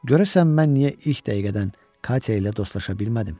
Görəsən mən niyə ilk dəqiqədən Katya ilə dostlaşa bilmədim?